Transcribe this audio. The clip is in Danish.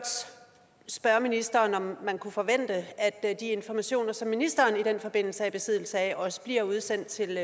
spørge ministeren om man kunne forvente at de informationer som ministeren i den forbindelse er i besiddelse af også bliver udsendt til